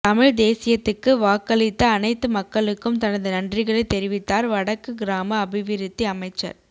தமிழ் தேசியத்துக்கு வாக்களித்த அனைத்து மக்களுக்கும் தனது நன்றிகளை தெரிவித்தார் வடக்கு கிராம அபிவிருத்தி அமைச்சர்